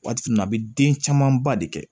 Waati min na a bɛ den camanba de kɛ